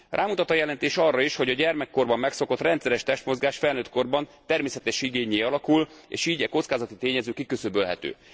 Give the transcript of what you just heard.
Rámutat a jelentés arra is, hogy a gyermekkorban megszokott rendszeres testmozgás felnőttkorban természetes igénnyé alakul, és így e kockázati tényező kiküszöbölhető.